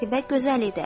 Qətibə gözəl idi.